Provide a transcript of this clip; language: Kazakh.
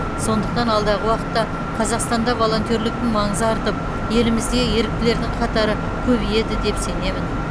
сондықтан алдағы уақытта қазақстанда волонтерліктің маңызы артып елімізде еріктілердің қатары көбейеді деп сенемін